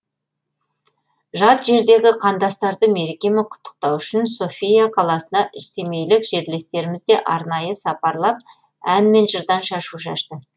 жат жердегі қандастарды мерекемен құттықтау үшін софия қаласына семейлік жерлестеріміз де арнайы сапарлап ән мен жырдан шашу шашты